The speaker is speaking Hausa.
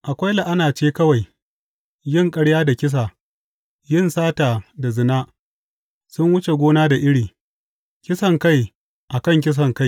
Akwai la’ana ce kawai, yin ƙarya da kisa, yin sata da zina; sun wuce gona da iri, kisankai a kan kisankai.